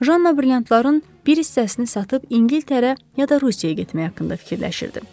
Janna brilliantların bir hissəsini satıb İngiltərə, ya da Rusiyaya getmək haqqında fikirləşirdi.